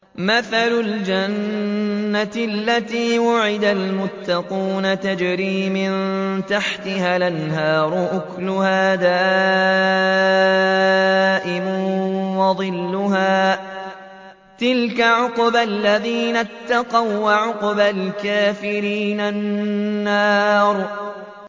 ۞ مَّثَلُ الْجَنَّةِ الَّتِي وُعِدَ الْمُتَّقُونَ ۖ تَجْرِي مِن تَحْتِهَا الْأَنْهَارُ ۖ أُكُلُهَا دَائِمٌ وَظِلُّهَا ۚ تِلْكَ عُقْبَى الَّذِينَ اتَّقَوا ۖ وَّعُقْبَى الْكَافِرِينَ النَّارُ